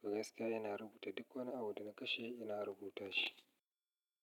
To gaskiya ina rubuta duk wani abu da na kashe ina rubuta shi.